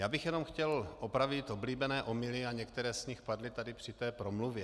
Já bych jenom chtěl opravit oblíbené omyly, a některé z nich padly tady při té promluvě.